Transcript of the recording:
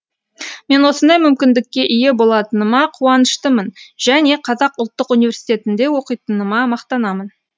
мен осындай мүмкіндікке ие болатыныма құаныштымын және қазақ ұлттық университетінде оқитыныма мақтанамын